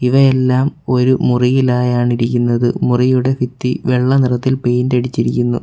ഇവയെല്ലാം ഒരു മുറിയിലായാണ് ഇരിക്കുന്നത് മുറിയുടെ ഭിത്തി വെള്ള നിറത്തിൽ പെയിൻ്റടിച്ചിരിക്കുന്നു .